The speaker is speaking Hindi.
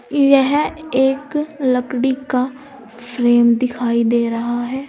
यह एक लकड़ी का फ्रेम दिखाई दे रहा है।